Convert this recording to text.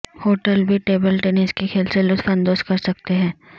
hotel بھی table tennis کے کھیل سے لطف اندوز کر سکتے ہیں